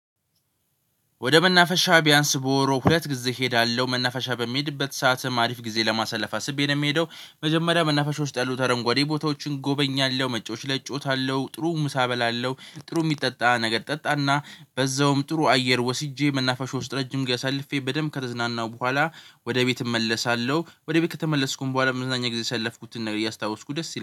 ወደ መናፈሻ ቢያንስ በወሩ ሁለት ጊዜ እሄዳለሁ መናፈሻ በሚሄድበት ሰዓትም አሪፍ ጊዜ ለማሳለፍ አስቤ ነው የምሄደው። መጀመሪያ መናፈሾች ጣሉ ተረንጓዴ ቦታዎችን ጎበኛለሁ መጫወች ለጭውታለሁ ጥሩ ምሳ እበላለሁ። ጥሩ የሚጠጣ ነገር ጠጣና በዛውም ጥሩ አየር ወስጄ መናፈሻ ውስጥ ረጅም ጋር አሳልፌ በደንብ ከተዝናናሁ በኋላ። ወደ ቤት እመለሳለሁ። ወደ ቤት ከተመለስኩኝ በኋላ መዝናኛ ጊዜ ያሰለፍኩትን ነገር እያስታወስኩ ደስ ይላል